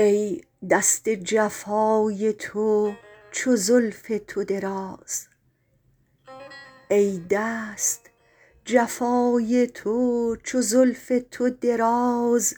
ای دست جفای تو چو زلف تو دراز